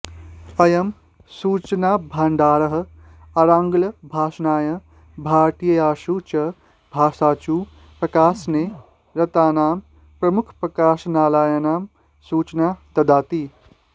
अयं सूचनाभाण्डारः आङ्ग्ल भाषायां भारतीयासु च भाषासु प्रकाशने रतानां प्रमुखप्रकाशनालयानां सूचना ददाति